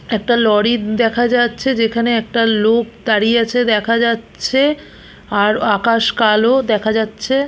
একটা লরি দেখা যাচ্ছে যেখানে একটা লোক দাঁড়িয়ে আছে দেখা যাচ্ছে আর আকাশ কালো দেখা যাচ্ছে।